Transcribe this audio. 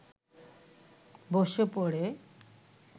বসে পড়ে